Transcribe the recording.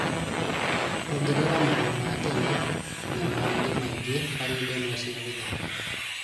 ongerera marũa ma tene na mangĩ maingĩ harĩ ndemwa cia gũthaaka